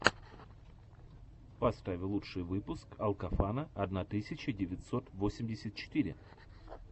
поставь лучший выпуск алкофана одна тысяча девятьсот восемьдесят четыре